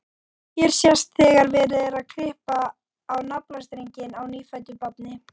Hér sést þegar verið er að klippa á naflastrenginn á nýfæddu barni.